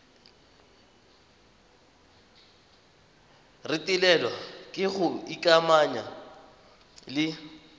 retelelwa ke go ikamanya le